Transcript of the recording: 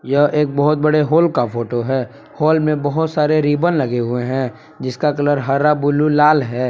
यह एक बहोत बड़े हॉल का फोटो है हाल में बहुत सारे रिबन लगे हुए हैं जिसका कलर हरा ब्लू लाल है।